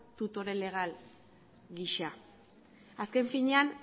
tutore legal gisa azken finean